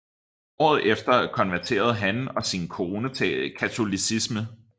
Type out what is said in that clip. Året efter konverterede han og sin kone til katolicismen